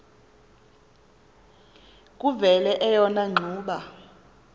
kuvele eyona ngxuba